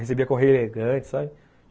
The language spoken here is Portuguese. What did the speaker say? Recebia correio elegante, sabe?